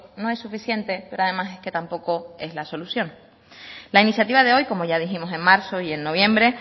no es suficiente pero además es que tampoco es la solución la iniciativa de hoy como ya dijimos en marzo y en noviembre